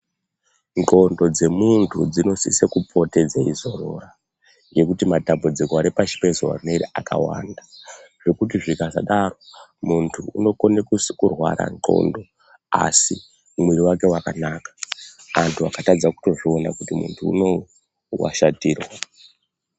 Ndxondo dze muntu dzinosise kupote dzeyi zorora ngekuti matambudziko ari pashi pe zuva rineri akawanda zvekuti zvika sadaro muntu unokone kurwara ndxondo asi mwiri wake wakanaka antu akatadza kutozvoona kuti muntu unowu wa shatirwa.